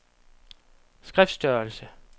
skriftstørrelse